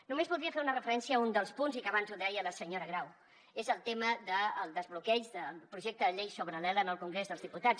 només voldria fer una referència a un dels punts i que abans ho deia la senyora grau és el tema del desbloqueig del projecte de llei sobre l’ela en el congrés dels diputats